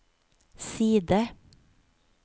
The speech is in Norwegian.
side